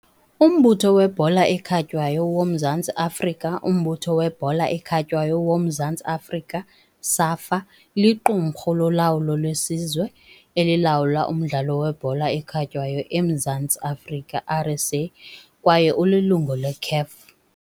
Umbutho weBhola ekhatywayo woMzantsi Afrika Umbutho webhola ekhatywayo woMzantsi Afrika, SAFA, liqumrhu lolawulo lesizwe elilawula umdlalo webhola ekhatywayo eMzantsi Afrika, RSA, kwaye ulilungu leCAF.